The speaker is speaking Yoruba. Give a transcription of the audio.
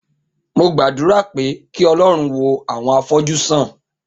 Mo gbàdúrà pé kí Ọlọ́run wo àwọn afọ́jú sàn.